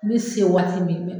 N se waati min